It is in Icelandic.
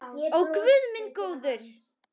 Ó guð minn góður.